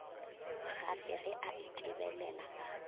gafe ge a itebelela a